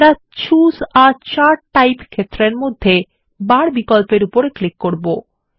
আমরা choose a chart type ক্ষেত্রের মধ্যে বার বিকল্প এর উপর ক্লিক করব